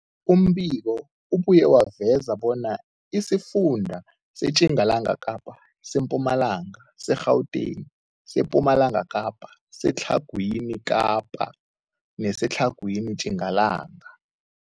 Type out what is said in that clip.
Umbiko ubuye waveza bona isifunda seTjingalanga Kapa, seMpumalanga, seGauteng, sePumalanga Kapa, seTlhagwini Kapa neseTlhagwini Tjingalanga.